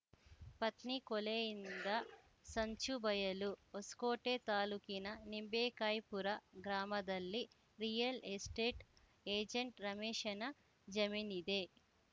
ಪತ್ನಿ ಕೊಲೆಯಿಂದ ಸಂಚು ಬಯಲು ಹೊಸ್ಕೋಟೆ ತಾಲೂಕಿನ ನಿಂಬೇಕಾಯಿಪುರ ಗ್ರಾಮದಲ್ಲಿ ರಿಯಲ್‌ ಎಸ್ಟೇಟ್‌ ಏಜೆಂಟ್‌ ರಮೇಶನ ಜಮೀನಿದೆ